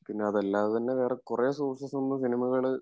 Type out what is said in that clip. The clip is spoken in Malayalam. പിന്നതല്ലാതെതന്നെ വേറെ കുറെ സോഴ്സ് ഉള്ള സിനിമകള്